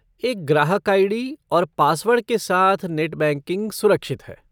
एक ग्राहक आई.डी. और पासवर्ड के साथ नेट बैंकिंग सुरक्षित है।